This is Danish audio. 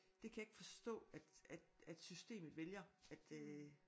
Det kan jeg ikke forstå at at at systemet vælger at øh